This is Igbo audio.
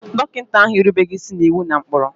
Dọkịta ahụ erubeghị isi n'iwu na ụkpụrụ.